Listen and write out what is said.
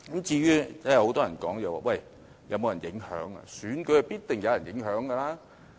至於很多人問選舉有否受到影響，選舉是必定有人影響的。